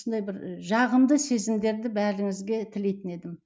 осындай бір жағымды сезімдерді бәріңізге тілейтін едім